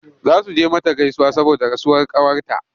Za su je mata gaisuwa saboda rasuwar ƙawarta.